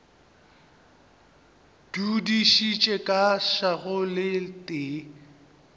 dudišitše ka šago le tee